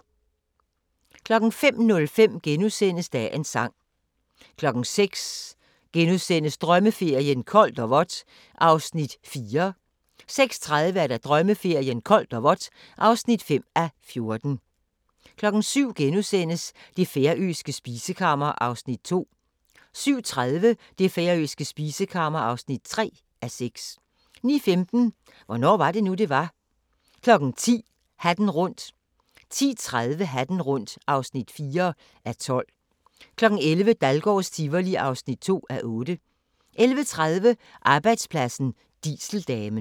05:05: Dagens sang * 06:00: Drømmeferien: Koldt og vådt (4:14)* 06:30: Drømmeferien: Koldt og vådt (5:14) 07:00: Det færøske spisekammer (2:6)* 07:30: Det færøske spisekammer (3:6) 09:15: Hvornår var det nu, det var? 10:00: Hatten rundt 10:30: Hatten rundt (4:12) 11:00: Dahlgårds Tivoli (2:8) 11:30: Arbejdspladsen - Dieseldamen